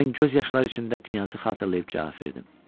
Mən göz yaşları içində qnyazı xatırlayıb cavab verdim.